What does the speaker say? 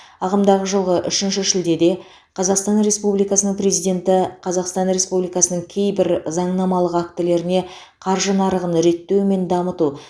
ағымдағы жылғы үшінші шілдеде қазақстан республикасының президенті қазақстан республикасының кейбір заңнамалық актілеріне қаржы нарығын реттеу мен дамыту